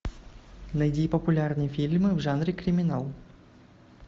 найди популярные фильмы в жанре криминал